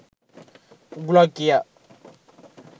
උගුලක් කියා.